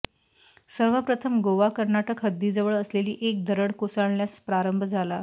सर्वप्रथम गोवा कर्नाटक हद्दीजवळ असलेली एक दरड कोसळण्यास प्रारंभ झाला